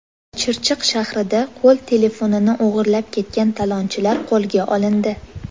Chirchiq shahrida qo‘l telefonini o‘g‘irlab ketgan talonchilar qo‘lga olindi.